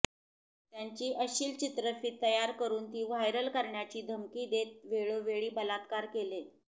त्याची अश्लिल चित्रफित तयार करून ती व्हायरल करण्याची धमकी देत वेळोवेळी बलात्कार केले